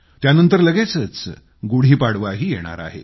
त्यानंतर लगेचच गुढीपाडवाही येणार आहे